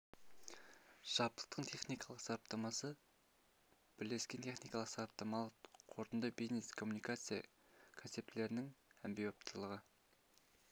жабдықтың техникалық сараптамасы бірлескен техникалық-сараптамалық қорытынды бизнес коммуникация концептілердің әмбебаптылығы